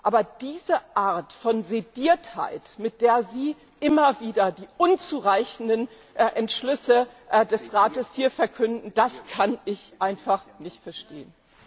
Aber diese Art von Sediertheit, mit der Sie immer wieder die unzureichenden Entschlüsse des Rates hier verkünden, das kann ich einfach nicht verstehen.